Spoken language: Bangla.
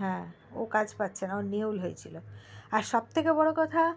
হে ও কাজ পাচ্ছেনা ও নেউল হয়েছিল আর সব থেকে বড়ো কথা